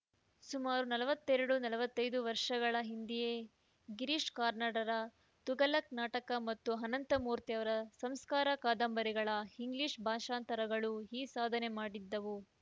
ಸುಮಾರು ನಲವತ್ತೆರಡು ನಲವತ್ತೈದು ವರ್ಷಗಳ ಹಿಂದೆಯೇ ಗಿರೀಶ್‌ ಕಾರ್ನಾಡರ ತುಘಲಕ್‌ ನಾಟಕ ಮತ್ತು ಅನಂತಮೂರ್ತಿಯವರ ಸಂಸ್ಕಾರ ಕಾದಂಬರಿಗಳ ಇಂಗ್ಲಿಷ್‌ ಭಾಷಾಂತರಗಳು ಈ ಸಾಧನೆ ಮಾಡಿದ್ದವು